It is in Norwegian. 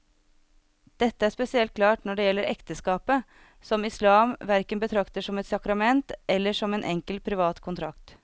Dette er spesielt klart når det gjelder ekteskapet, som islam hverken betrakter som et sakrament eller som en enkel privat kontrakt.